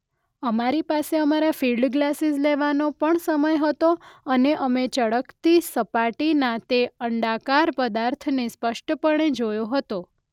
અમારી પાસે અમારા ફિલ્ડ ગ્લાસીસ લેવાનો પણ સમય હતો અને અમે ચળકતી સપાટીના તે અંડાકાર પદાર્થને સ્પષ્ટપણે જોયો હતો.